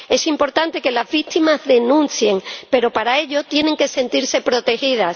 Es importante que las víctimas denuncien, pero para ello tienen que sentirse protegidas.